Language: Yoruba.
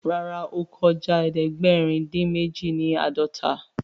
Ràrá o kọjá ẹdẹgbẹrin odin méjì ni ãdọta